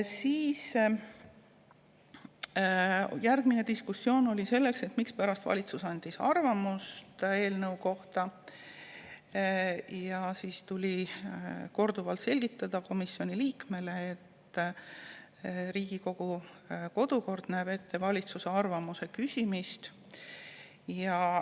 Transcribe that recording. Siis oli diskussioon selle üle, et mispärast valitsus andis oma arvamuse selle eelnõu kohta, ja siis tuli komisjoni liikmele korduvalt selgitada, et Riigikogu kodukord näeb ette valitsuse arvamuse küsimist.